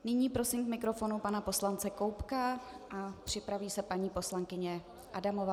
Nyní prosím k mikrofonu pana poslance Koubka a připraví se paní poslankyně Adamová.